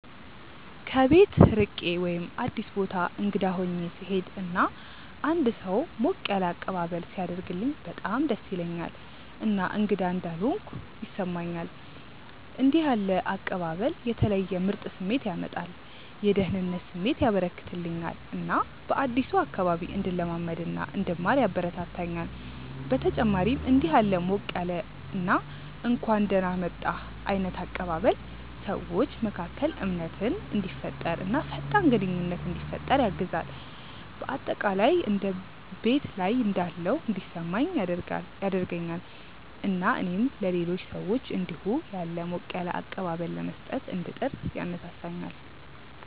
ከቤት ርቄ ወይም አዲስ ቦታ እንግዳ ሆኜ ስሄድ እና አንድ ሰው ሞቅ ያለ አቀባበል ሲያደርግልኝ በጣም ደስ ይለኛል እና እንግዳ እንዳልሆንኩ ያስሰማኛል። እንደዚህ ያለ አቀባበል የተለየ ምርጥ ስሜት ያመጣል፤ የደህንነት ስሜት ያበረከተልኛል እና በአዲሱ አካባቢ እንድለማመድ እና እንድማር ያበረታታኛል። በተጨማሪም እንዲህ ያለ ሞቅ ያለ እና እንኳን ደህና መጣህ ዓይነት አቀባበል ሰዎች መካከል እምነትን እንዲፈጠር እና ፈጣን ግንኙነት እንዲፈጠር ያግዛል። በአጠቃላይ እንደ ቤት ላይ እንዳለሁ እንዲሰማኝ ያደርገኛል እና እኔም ለሌሎች ሰዎች እንዲሁ ያለ ሞቅ ያለ አቀባበል ለመስጠት እንድጥር ያነሳሳኛል።